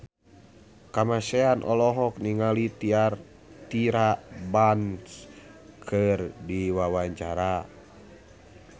Kamasean olohok ningali Tyra Banks keur diwawancara